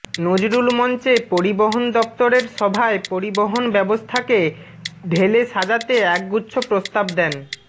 নজরুল মঞ্চে পরিবহন দফতরের সভায় পরিবহন ব্যবস্থাকে ঢেলে সাজাতে একগুচ্ছ প্রস্তাব দেন